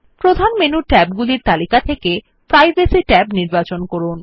প্রধান menu tab গুলির তালিকা থেকে প্রাইভেসি ট্যাব নির্বাচন করুন